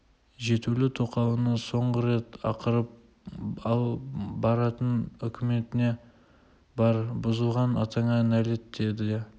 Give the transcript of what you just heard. жетулі тоқалына соңғы рет ақырып ал баратын үкіметіне бар бұзылған атаңа нәлет деді де